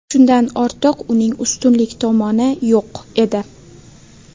Shundan ortiq uning ustunlik tomoni yo‘q edi.